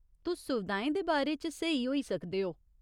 तुस सुविधाएं दे बारे च स्हेई होई सकदे ओ।